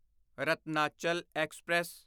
Ratnachal express